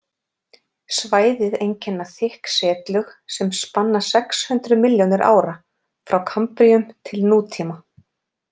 Svæðið einkenna þykk setlög sem spanna sex hundruð milljónir ára, frá kambríum til nútíma.